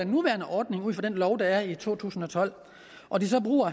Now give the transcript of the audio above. nuværende ordning ud fra den lov der er i to tusind og tolv og de så bruger